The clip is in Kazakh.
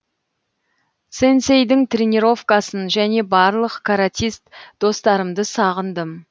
сэнсэйдің тренировкасын және барлық каратист достарымды сағындым